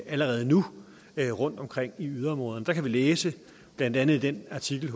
allerede nu rundt omkring i yderområderne der kan vi læse blandt andet i den artikel